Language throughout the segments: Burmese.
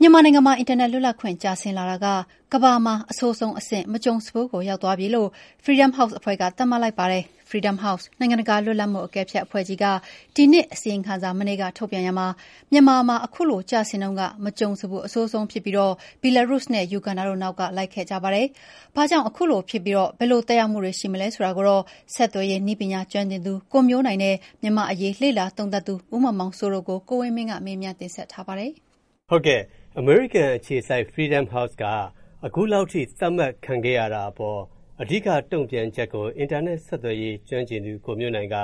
မြန်မာနိုင်ငံမှာ အင်တာနက် လွတ်လပ်ခွင့် ကျဆင်းလာတာက၊ ကမ္ဘာမှာ အဆိုးဆုံးအဆင့် မကြုံစဖူးကို ရောက်သွားပြီလို့ Freedom House အဖွဲ့က သတ်မှတ်လိုက်ပါတယ်။ Freedom House နိုင်ငံတကာလွတ်လပ်မူအကဲဖြတ်အဖွဲ့ကြီးက ဒီနှစ်အစီရင်ခံစာ မနေ့ကထုတ်ရာမှာ၊ မြန်မာမှာ အခုလို ကျဆင်းနှုန်းက မကြုံစဖူးအဆိုးဆုံးဖြစ်ပြီး၊ Belarus နဲ့ Uganda တို့က နောက်က လိုက်ခဲ့ကြပါတယ်။ ဘာကြောင့်အခုလိုဖြစ်ခဲ့ရပြီး၊ ဘယ်လို သက်ရောက်မူရှိတာကို ဆက်သွယ်ရေးနည်းပညာကျွမ်းကျင်သူ ကိုမျိုးနိုင်နဲ့ မြန်မာ့အရေးလေ့လာသုံးသပ်သူ ဦးမောင်မောင်စိုးတို့ကို ကိုဝင်းမင်းက မေးထားပါတယ်။ အမေရိကန်အခြေစိုက် Freedom House က အခုလောက်ထိ သပ်မှတ်ခံခဲ့ရတဲ့အပေါ် အဓိကတုံ့ပြန်ချက်ကို အင်တာနက်ဆက်သွယ်ရေးကျွမ်းကျင်သူ ကိုမျိုးနိုင်က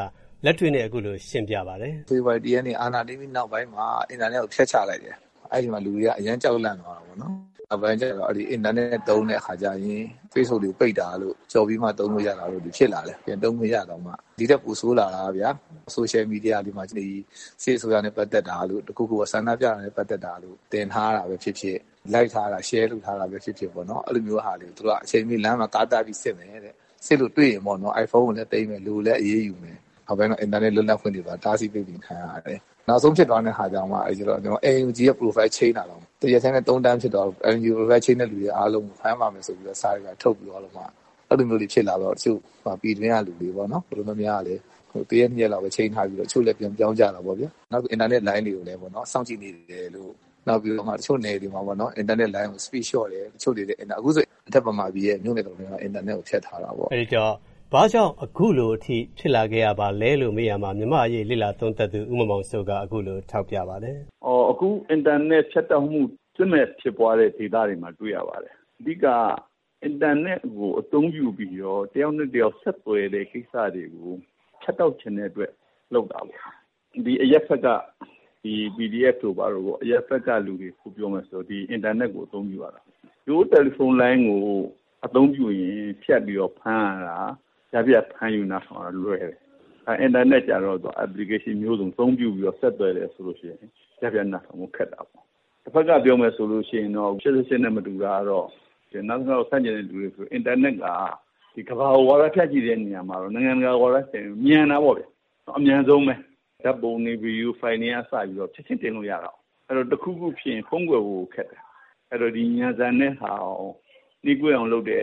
လက်တွေ့နဲ့အခုလိုစရှင်းပြပါတယ်။ ဖေဖော်ဝါရီလ ရက်နေ့အာဏာသိမ်းပြီးနောက်ပိုင်းမှာ အင်တာနက်ကို ဖြတ်ချလိုက်တယ်။ အဲဒီအချိန်မှာ လူတွေက အရမ်းကြီးကြောက်လန့်သွားတာပေါ့နော်။ နောက်ပိုင်းမှာ လူတွေက အင်တာနက်သုံးတဲ့အခါကျရင် Facebook တွေ ပိတ်တာတို့၊ ကျော်ပြီးမှ သုံးလို့ရတာတို့တွေဖြစ်လာတယ်။ ဒီထက်ပိုဆိုးတာက ဆိုရှယ်မီဒီယာတွေမှာ စစ်အစိုးရနဲ့ပက်သက်တာတို့၊ ဆန္ဒပြတာနဲ့ပက်သက်တာတို့တွေတင်ထားတာပဲဖြစ်ဖြစ်၊ Like ထား၊ ရှယ်ထားတာပဲဖြစ်ဖြစ် အချိန်မရွေးသူတို့က လမ်းမှာ တားတားပြီးစစ်မယ်တဲ့။ သူတို့ စစ်လို့တွေ့ရင် အိုင်ဖုန်းကိုလည်းသိမ်းမယ်။ လူကိုလည်း အရေးယူမယ်။ နောက်ပိုင်းတော့ အင်တာနက်လွတ်လပ်ခွင့်တွေပါ ပိတ်ပင်ခံရတယ်။ နောက်ဆုံးဖြစ်သွားတဲ့ဟာက NUG ရဲ့ Profile Change တာ တရက်ထဲ သုံးသန်းကျော်သွားလို့NUG Profile တာကို ဖမ်းပါမယ်ဆိုပြီးတော့မှ စာတွေဘာတွေထုတ်ပြီးသွားတော့မှ၊ အဲလိုတွေဖြစ်လာပြီးတော့ တချို့ တော်တော်များများပေါ့နော် ၊ ပြည်တွင်းကလူတွေ တရက်နှစ်ရက်လောက်ပဲချိန်းထားပြီးတော့ ပြန်ပြောင်းကြတာပေါ့နော်။ နောက်ပြီး အင်တာနက်လိုင်းတွေကိုလည်း စောင့်ကြည့်နေတယ်လို့။ အင်တာနက်လိုင်းကို Speed လျှော့တယ်တို့။ အခုဆို အထက်မြန်မာပြည်ရဲ့ မြို့နယ်တော်တော်များများကို အင်တာနက်တွေ ဖြတ်ထားတာပေါ့နော်။ ဘာ့ကြောင့်အခုလိုထိဖြစ်လာရပါလဲလို့မေးမြန်းရာမှာ မြန်မာအရေးလေ့လာသုံးသပ်သူ ဦးမောင်မောင်စိုးက အခုလို ပြောပါတယ်။ အခု အင်တာနက်ဖြတ်တောက်မှုကို စစ်မက်ဖြစ်ပွားတဲ့ ဒေသတွေမှာ တွေ့ရပါတယ်။ အဓိကက အင်တာနက်ကို အသုံးပြုပြီးတော့ တယောက်နဲ့တယောက် ဆက်သွယ်တဲ့ ကိစ္စတွေကို ဖြတ်တောက်ချင်တဲ့အတွက် လုပ်တာပေါ့။ အရပ်ဘက်က PDF တို့ဘာတို့ပေါ့။ အရပ်ဘက်ကလူတွေ ဖုန်းပြောမယ်ဆို အင်တာနက်ကို အသုံးပြုရတာ။ ရိုးရိုးတယ်လီဖုန်းလိုင်းကို အသုံးပြုရင် ကြား ဖြတ်ပြီးတော့ ဖမ်းယူနားထောင်ရတာ လွယ်ကူတယ်။ အင်တာနက်ကျတော့ Application မျိုးစုံကို အသုံးပြုပြီးဆက်သွယ်တယ်ဆိုတော့ ကြားဖြတ်ဖမ်းယူဖို့ ခက်တယ်ပေါ့။ တဘက်ကပြောမယ်ဆိုရင်တော့ ၈၈ နဲ့မတူတာက ကမ္ဘာကို၊ နိုင်ငံတကာကို ဝါဒဖြန့်ချီတဲ့နေရာမှာ မြန်တာပေါ့ဗျာ။ အမြန်ဆုံးပဲ၊ ဓာတ်ပုံတွေ၊ ဗွီဒီယိုဖိုင်တွေကစပြီးတော့ ချက်ချင်းတင်လို့ရတာကိုး။ အဲဒီတော့ တခုခုဖြစ်ရင် ဖုံးကွယ်ဖို့ခက်တယ်။ အဲဒီတော့ ဒီမြန်ဆန်တဲ့ဟာကို နှေးကွေးအောင်လုပ်တယ်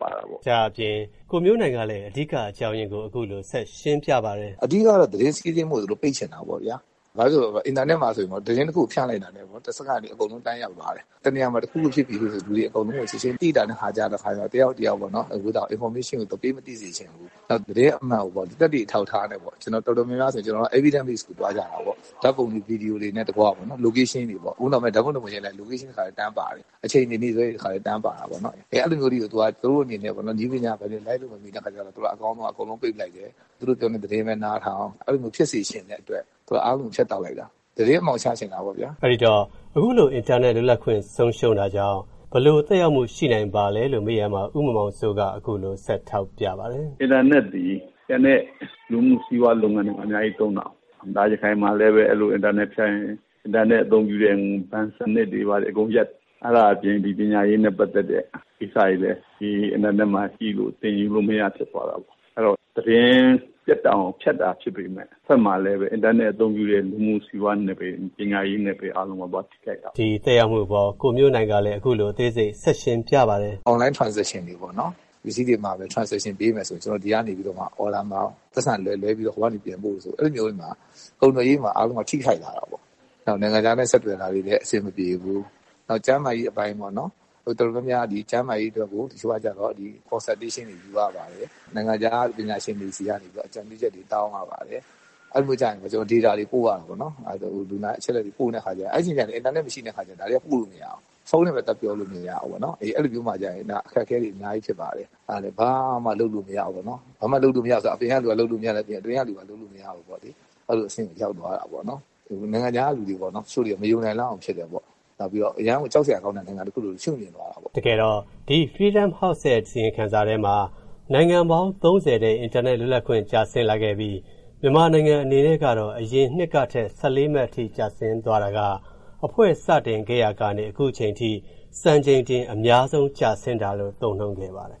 ပေါ့။ ဒါ့အပြင် ကိုမျိုးနိုင်ကလည်း အဓိကအကြောင်းအရင်းကို အခုလို ရှင်းပြပါတယ်။ အဓိကကတော့ သတင်းစီးဆင်းမှုကို သူတို့ပိတ်ချင်တာပေါ့ဗျာ။ ဘာလဲဆိုတော့ အင်တာနက်မှာဆိုလို့ရှိရင် သတင်းတခုကိုဖြန့်လိုက်တာနဲ့တစက္ကန့်အတွင်း အကုန်လုံး တန်းရောက်သွားတယ်။ တနေရာရာမှာ တခုခုဖြစ်ပြီဆိုလို့ရှိရင် လူတွေအကုန်လုံးကို ချက်ချင်းသိနိုင်တဲ့အခါကျတော့ တယောက်ကနေ တယောက် သူတို့က အင်ဖော်မေးရှင်းကို ပေးမသိစေချင်ဘူး။ သတင်းအမှန်ကိုပေါ့ သက်သေအထောက်အထားနဲ့ တော်တော်များများက evidence တွေ စုသွားကြတယ်။ ဓာတ်ပုံတွေ၊ ဗွီဒီယိုတွေနဲ့တကွပေါ့။ အခုနောက်ပိုင်း Location တွေပေါ့။ အခုနောက်ပိုင်း ဓာတ်ပုံတပုံရိုက်လိုက်ရင် Location တွေ နေ့စွဲတွေ တခါထဲ တန်းပါတယ်ပေါ့။ အဲလိုမျိုးအထိပေါ့။ သူတို့အနေနဲ့နည်းပညာပိုင်းကို လိုက်လို့မမီတဲ့အခါကျတော့ သူတို့က အကောင်းဆုံးက အကုန်လုံးပိတ်လိုက်တယ်။ သူတို့ပြောတဲ့ သတင်းပဲနားထောင်၊ အဲလိုမျိုးဖြစ်စေချင်တဲ့ အတွက် သူတို့က အားလုံး ဖြတ်တောက်လိုက်တာ။ သတင်းအမှောင်ချချင်တာပေါ့ဗျာ။ အဲဒီတော့ သတင်းလွတ်လပ်ခွင့်ဆုံးရှုံးတာကြောင့် ဘယ်လိုသက်ရောက်ခွင့်ရှိနိုင်ပါလဲလို့မေးမြန်းရာမှာ ဦးမောင်မောင်စိုးက အခုလို ဆက်ထောက်ပြပါတယ်။ အင်တာနက်သည် ကျန်တဲ့ လူမှုစီးပွားလုပ်ငန်းတွေမှာ အများကြီးသုံးတာကိုး။ ရခိုင်မှာလည်း အင်တာနက်ဖြတ်ရင် အင်တာနက်သုံးတဲ့ လူမှုစီးပွားစနစ်တွေ၊ ဘဏ်စနစ်တွေ အကုန်ပျက်တယ်။ ဒါ့အပြင် ပညာရေးနဲ့ပက်သက်တဲ့ ကိစ္စတွေလည်း ဒီအင်တာနက်မှာ ကြည့်လို့၊ သင်ယူလို့မရ ဖြစ်သွားတာပေါ့။ အဲဒီတော့ သတင်း ပြတ်တောက်အောင် ဖြတ်တောက်တာဖြစ်ပေမယ့် အင်တာနက်အသုံးပြုတဲ့၊ လူမှုစီးပွားနယ်ပယ်တွေ၊ ပညာရေးနယ်ပယ်တွေ အားလုံးကို သွားထိခိုက်တာပေါ့။ ဒီသက်ရောက်မှုအပေါ် ကိုမျိူးနိုင်ကလည်း အခုလို ဆက်ပြီးရှင်းပြပါတယ်။ အွန်လိုင်း Transition တွေပေါ့နော်။ ပစ္စည်းတွေမှာမယ်၊ အွန်လိုင်း Transition ပေးမယ်ဆိုရင်။ ဒီကနေ အော်ဒါမှာ၊ ဟိုကနေပိုက်ဆံလွှဲ၊ လွှဲပြီးတော့ ပြန်ပို့ဆိုရင် အဲဒီလိုမျိုးတွေမှာ ကုန်သွယ်ရေးမှာ သွားပြီးတော့ ထိခိုက်လာတာပေါ့။ နောက်ပြီး နိုင်ငံခြားနဲ့ဆက်သွယ်တာတွေလည်း အဆင်မပြေဘူး။ နောက် ကျန်းမာရေးအပိုင်းပေါ့နော်။ တော်တော်များများဟာ ဒီကျန်းမာရေးအတွက်ကို observation တွေယူရပါတယ်။ နိုင်ငံခြားက အကြံပြုချက်တွေ တောင်းရပါတယ်။ အဲဒီလိုမျိုးကျရင် data တွေ တောင်းရတယ်ပေါ့နော်။ အဲဒီအချိန်ကျရင် အင်တာနက်မရှိတဲ့အခါကျရင် ပို့လို့မရဘူး။ ဖုန်းနဲ့လည်း သွားပြောလို့မရဘူး ပေါ့နော်။ အဲဒီလိုမျိုး အဖြစ်မျိုးမှာကျရင် အခက်အခဲတွေ အများကြီးတွေ့ရတယ်။ ဘာမှာလုပ်လို့မရဘူးပေါ့နော်။ အပြင်ကလူအပြင် အတွင်းကလူပါ လုပ်လို့မရဘူးပေါ့နော်။ အဲလိုအဆင့် ရောက်သွားတာပေါ့နော်။ နိုင်ငံခြားကလူတွေပေါ့နော် ၊ တချိုေ့တွက နေမနိုင်လောက်အောင်ဖြစ်တယ်ပေါ့။ အရမ်းကို ကြောက်စရာကောင်းတဲ့နိုင်ငံတခုလို အဆင့်နိမ့်သွားတာပေါ့။ တကယ်တော့ ဒီ Freedom House ရဲ့ အစီရင်ခံစာထဲမှာ နိုင်ငံပေါင်း ၃၀ ရဲ့ အင်တာနက်လွတ်လပ်ခွင့် ကျဆင့်လာခဲ့ပြီး မြန်မာနိုင်ငံအနေနဲ့က အရင်နှစ်ကထက် ၁၄ မှတ်အထိ ကျဆင်းသွားတာက အဖွဲ့စတင်ခဲ့ရာကနေ အခုထိ စံချိန်တင်ကျဆင်းတာလို့သုံးနှုန်းခဲ့ပါတယ် ခင